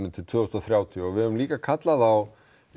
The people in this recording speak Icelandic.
til tvö þúsund og þrjátíu við höfum líka kallað á